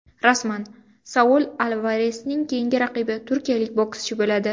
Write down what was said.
Rasman: Saul Alvaresning keyingi raqibi turkiyalik bokschi bo‘ladi.